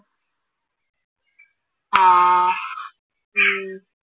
ആഹ് ഉം